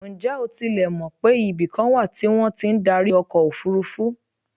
Ǹjẹ́ o tilẹ̀ mọ̀ pé ibikan wà tí wọ́n ti ń darí ọkọ̀ òfurufú?